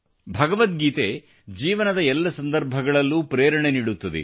ಭಗವದ್ಗೀತೆ ಜೀವನದ ಎಲ್ಲ ಸಂದರ್ಭಗಳಲ್ಲೂ ಪ್ರೇರಣೆಯನ್ನು ನೀಡುತ್ತದೆ